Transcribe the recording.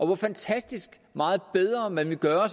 hvor fantastisk meget bedre man vil gøre